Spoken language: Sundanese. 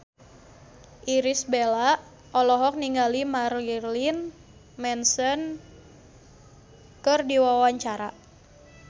Irish Bella olohok ningali Marilyn Manson keur diwawancara